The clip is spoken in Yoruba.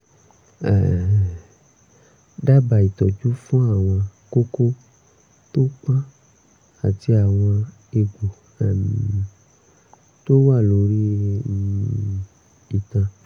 um dábàá ìtọ́jú fún àwọn kókó tó pọ́n àti àwọn egbò um tó wà lórí um itan